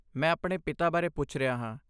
ਮੈਂ ਆਪਣੇ ਪਿਤਾ ਬਾਰੇ ਪੁੱਛ ਰਿਹਾ ਹਾਂ।